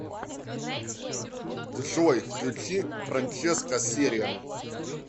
джой включи франческо сериа